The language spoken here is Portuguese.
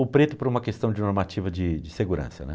O preto por uma questão de normativa de de segurança, né?